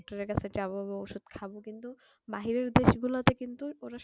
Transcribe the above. doctor এর কাছে যাবো ওষুধ খাবো কিন্তু বাহিরের দেশ গুলতে কিন্তু ওরা